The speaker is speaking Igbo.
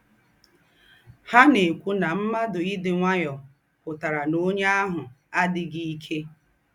Ha ná-èkwù ná m̀ádụ́ ídị́ ǹwáyọ̀ pụ́tàrà ná ónyè àhụ̀ àdíghí íkè.